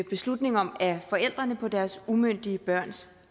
beslutning om af forældrene på deres umyndige børns